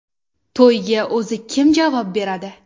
To‘yga o‘zi kim javob beradi?